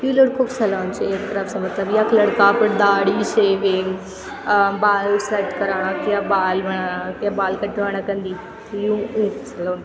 यु लड़को क सलून च एक तरफ से मतलब यख लड़का अपर दाड़ी शेविंग अ बाल सेट कराणा क या बाल बनाणा क या बाल कटवाणा क अन्दी यु उंक सलून --